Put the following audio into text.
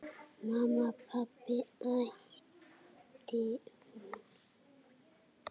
Mamma, pabbi æpti hún.